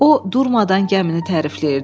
O durmadan gəmini tərifləyirdi.